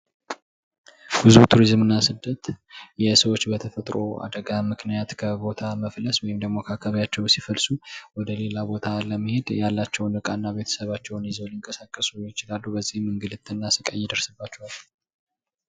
ጉዞ ቱሪዝምና ስደት የሰዎች በተፈጥሮ አደጋ ምክንያት ከቦታ መፍለስ ወይም አካባቢያቸው ሲፈልሱ ወደ ሌላ ቦታ ለመሄድ ያላቸውን ቀና ቤተሰብ ይዘው ሊንቀሳቀሱ ይችላሉ በዚህም እንግልት እና ስቃይ ይደርስባቸዋል።